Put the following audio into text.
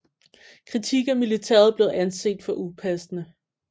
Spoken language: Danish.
Kritik af militæret blev anset for upassende